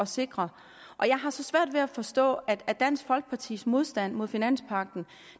sikre jeg har så svært ved at forstå at dansk folkepartis modstand mod finanspagten